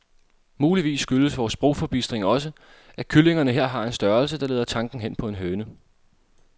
Muligvis skyldes vor sprogforbistring også, at kyllingerne her har en størrelse, der leder tanken hen på en høne.